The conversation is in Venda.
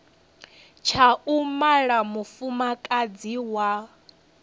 tsha u mala mufumakadzi wa